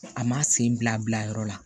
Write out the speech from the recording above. A ma sen bila a bila yɔrɔ la